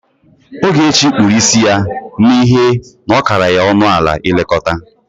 Ogechi kpuru isi ya n'ihe na ọ kara ya ọnụ ala ilekọta.